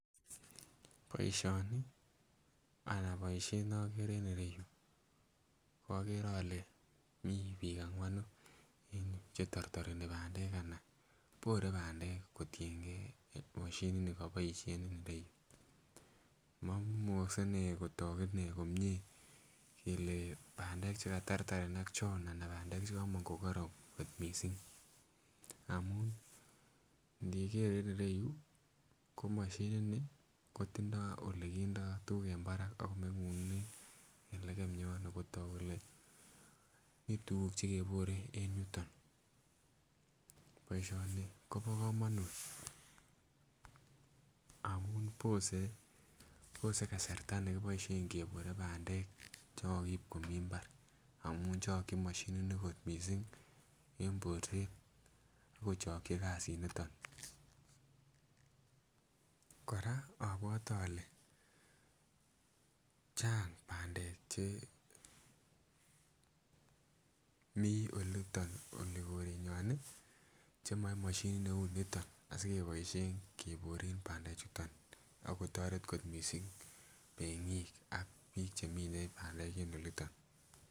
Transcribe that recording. Boisioni ana boisiet nokere en ireyu okere ole mi biik ang'wanu en yuu chetortoreni bandek ana bore bandek kotiengei moshinit nikiboisien en ireyu momukokse nee kotok inee komie kele bandek chekatartarenak chon ana bandek chekomong kokoron kot missing amun ngeker en ireyu ko mashinit ni kotindoo olekindoo kit nekindoo tuguk en barak akomong'unen lekem yon kotok kele mii tuguk chekebore en yuton. Boisioni kobo komonut amun bose bose kasarta nekiboisien kebore bandek chekokiib komii mbar amun chokyin moshinit ni kot missing en borset ak kochokyi kasit niton. Kora abwote ole chang bandek chemii oliton olikorenywan ih chemoe moshinit neu niton asikeboisien keboren bandek chuton akotoret kot missing meng'ik ak biik chemine bandek en oliton